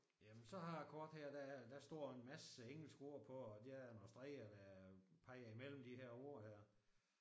Jamen så har jeg et kort der er der står en masse engelske ord på og der er nogle streger der peger imellem de her ord der